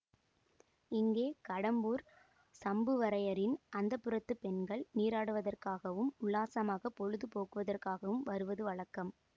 இங்கே கடம்பூர் சம்புவரையரின் அந்தப்புரத்துப் பெண்கள் நீராடுவதற்காகவும் உல்லாசமாகப் பொழுது போக்குவதற்காகவும் வருவது வழக்கம்